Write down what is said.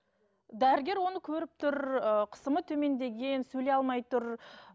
дәрігер оны көріп тұр ыыы қысымы төмендеген сөйлей алмай тұр